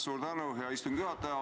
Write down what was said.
Suur tänu, hea istungi juhataja!